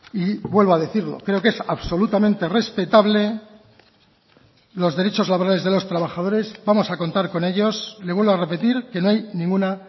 y vuelvo a decirlo creo que es absolutamente respetable los derechos laborales de los trabajadores vamos a contar con ellos le vuelvo a repetir que no hay ninguna